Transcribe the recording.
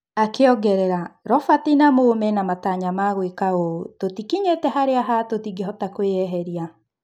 Akĩongerera: "Robert na Mũ mena matanya harĩ gũĩka ũũ, tũtikinyĩire harĩa ha... tũtingĩhota kũĩyeheria."